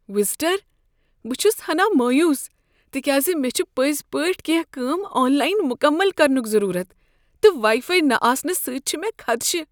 visitor "بہٕ چھس ہناہ مایوس تکیاز مےٚ چھ پٔزۍ پٲٹھۍ کیٚنہہ کٲم آن لائن مکمل کرنک ضرورت، تہٕ واٮیی فایی نہ آسنہٕ سۭتۍ چھ مےٚ خدشہ "